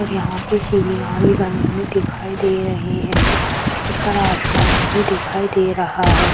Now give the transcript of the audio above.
और यहाँ पर सीढ़ियाँ भी बने हुए दिखाई दे रहे हैं ऊपर आसमान भी दिखाई दे रहा है।